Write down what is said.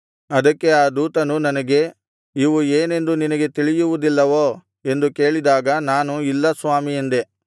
ಅದಕ್ಕೆ ಆ ದೂತನು ನನಗೆ ಇವು ಏನೆಂದು ನಿನಗೆ ತಿಳಿಯುವುದಿಲ್ಲವೋ ಎಂದು ಕೇಳಿದಾಗ ನಾನು ಇಲ್ಲ ಸ್ವಾಮೀ ಎಂದೆ